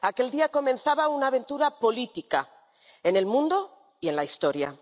Aquel día comenzaba una aventura política, en el mundo y en la historia.